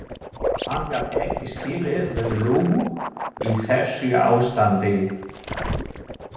Hann gat ekki skilið við Lóu í þessu ástandi.